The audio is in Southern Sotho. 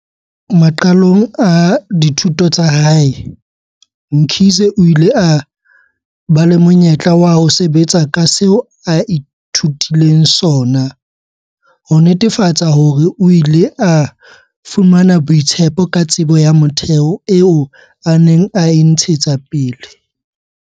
Maqalong a dithuto tsa hae, Mkhize o ile a ba le monyetla wa ho sebetsa ka seo a ithutileng sona, ho netefatsa hore o ile a fumana boitshepo ka tsebo ya motheo eo a neng a e ntshetsa pele.